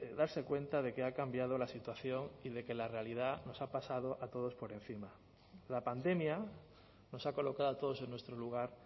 darse cuenta de que ha cambiado la situación y de que la realidad nos ha pasado a todos por encima la pandemia nos ha colocado a todos en nuestro lugar